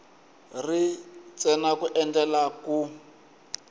ri ntsena ku endlela ku